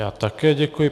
Já také děkuji.